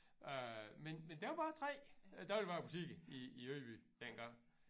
Øh men men der var 3 dagligvarebutikker i i Ydby dengang